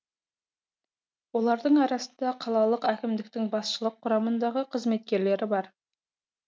олардың арасында қалалық әкімдіктің басшылық құрамындағы қызметкерлері бар